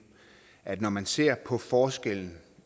at når man ser på forskellen